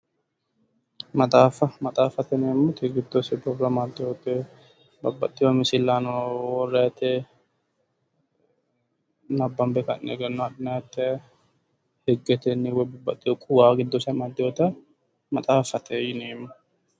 Maxaaffa maxaaffate yineemmoti giddose borro amaddeyote babbaxxeyo misillano worrayte nabbambe ka'ne egenno adhinayte higgetenni babbaxxeyo quwa giddose amaddeyota maxaaffate yineemmo